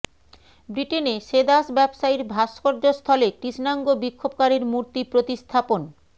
ব্রিটেনে সে দাস ব্যবসায়ীর ভাস্কর্যস্থলে কৃষ্ণাঙ্গ বিক্ষোভকারীর মূর্তি প্রতিস্থাপন